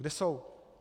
Kde jsou?